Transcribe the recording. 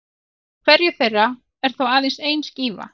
Í hverjum þeirra er þó aðeins ein skífa.